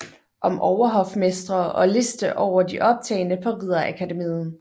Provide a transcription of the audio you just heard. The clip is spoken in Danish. Om overhofmestre og liste over de optagne på ridderakademiet